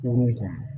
Kurun kɔnɔ